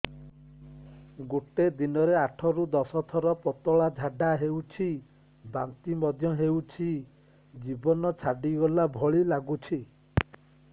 ଗୋଟେ ଦିନରେ ଆଠ ରୁ ଦଶ ଥର ପତଳା ଝାଡା ହେଉଛି ବାନ୍ତି ମଧ୍ୟ ହେଉଛି ଜୀବନ ଛାଡିଗଲା ଭଳି ଲଗୁଛି